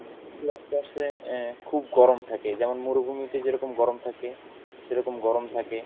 কিছু রাষ্ট্র আছে আহ খুব গরম থাকে যেমন মরুভূমিতে যেরকম গরম থাকে সেরকম গরম থাকে।